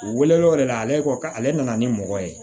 U welelaw yɛrɛ la ale ka ale nana ni mɔgɔ ye